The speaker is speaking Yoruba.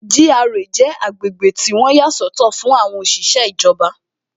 GRA jẹ́ agbègbè tí wọ́n yà sọ́tọ̀ fún àwọn òṣìṣẹ́ ìjọba